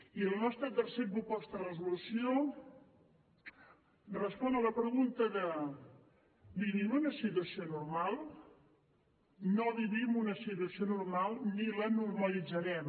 i la nostra tercera proposta de resolució respon a la pregunta de vivim en una situació normal no vivim una situació normal ni la normalitzarem